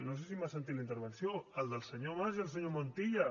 no sé si m’ha sentit la intervenció el del senyor mas i el senyor montilla